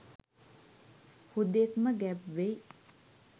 හුදෙක් ම ගැබ්වෙයි